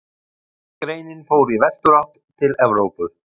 Hin greinin fór í vesturátt, til Evrópu.